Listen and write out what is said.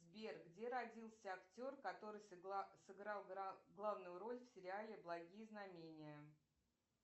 сбер где родился актер который сыграл главную роль в сериале благие знамения